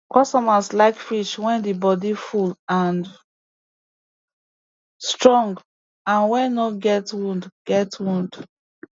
customers like fish wey di bodi full and strong and wey no get wound get wound